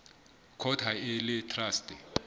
court ha e le traste